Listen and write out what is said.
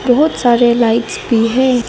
बहोत सारे लाइट्स भी हैं।